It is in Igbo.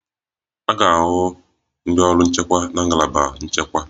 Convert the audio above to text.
A ga-ahụ ndị ọrụ nchekwa na ngalaba nchekwa